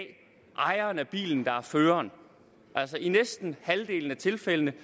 ejeren af bilen der er føreren altså i næsten halvdelen af tilfældene